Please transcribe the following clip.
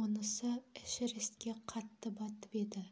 онысы эшерестке қатты батып еді